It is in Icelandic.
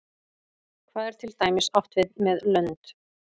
hvað er til dæmis átt við með lönd